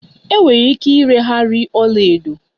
Enwere ike ireghari ọla edo